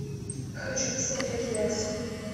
хочу посмотреть лекс